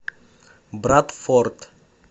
брадфорд